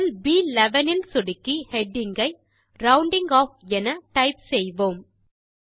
செல் ப்11 இல் சொடுக்கி ஹெடிங் ஐ ரவுண்டிங் ஆஃப் என டைப் செய்வோம்